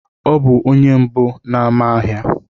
Ọ bụ onye mbụ n'ámá ahịa.